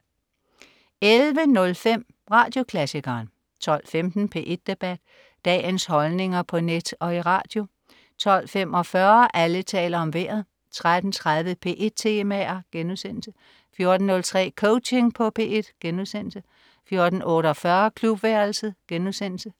11.05 Radioklassikeren 12.15 P1 Debat. Dagens holdninger på net og i radio 12.45 Alle taler om Vejret 13.30 P1 Temaer* 14.03 Coaching på P1* 14.48 Klubværelset*